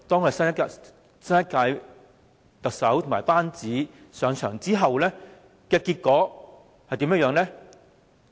可是，新一屆特首和其班子上場至今，結果是怎樣的呢？